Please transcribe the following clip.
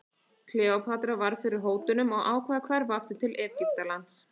Kleópatra varð fyrir hótunum og ákvað að hverfa aftur til Egyptalands.